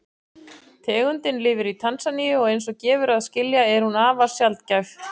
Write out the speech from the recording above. Tegundin lifir í Tansaníu og eins og gefur að skilja er hún afar sjaldgæf.